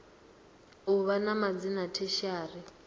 u vha na madzina tertiary